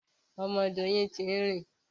Ọmọ Doyin tun rìn.